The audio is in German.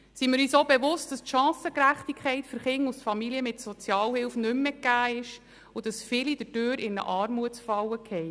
Seien wir uns auch bewusst, dass die Chancengerechtigkeit für Kinder aus Familien mit Sozialhilfe nicht mehr gegeben ist und dass dadurch viele in eine Armutsfalle geraten.